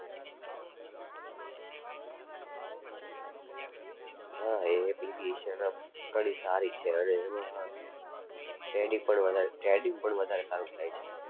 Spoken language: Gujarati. હા એ application આમ ઘણી સારી છે અને એમાં trading પણ વધારે trading પણ વધારે સારું થાય છે.